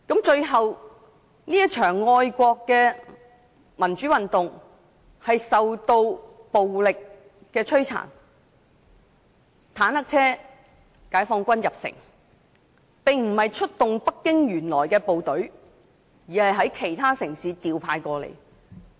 最後，這場愛國民主運動受到暴力鎮壓，解放軍駕着坦克車進城，出動的並非北京原來的部隊，而是從其他城市調派過來。